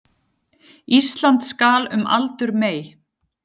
Ísland skal um aldur mey